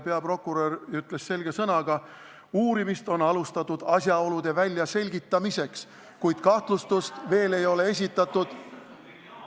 Peaprokurör ütles selge sõnaga, et uurimist on alustatud asjaolude väljaselgitamiseks, kuid kahtlustust ei ole veel esitatud.